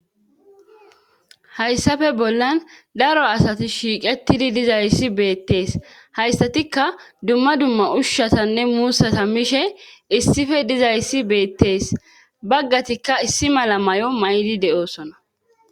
hayssafe bollan daro asati shiiqettidi dizayssi beettees hayssatikka dumma dumma ushshatanne muussata mishe issife dizayssi beettees baggatikka issi mala may7o maydi de7oosona